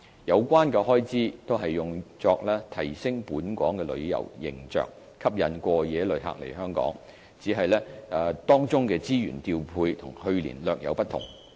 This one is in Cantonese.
有關開支均用作提升本港旅遊形象，吸引過夜旅客來港，只是當中資源調配與去年略有不同。